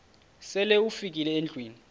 sele ufikile endlwini